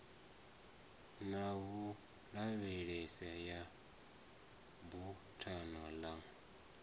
na vhulavhelese ya buthano ḽa